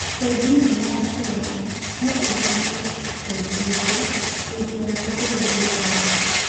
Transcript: Bengi nene ya Kenya no ĩhinge bengi ingĩ ingĩaga kũrũmĩrĩra watho